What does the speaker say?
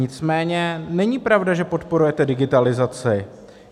Nicméně není pravda, že podporujete digitalizaci.